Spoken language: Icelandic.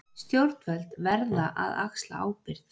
Stjórnvöld verða að axla ábyrgð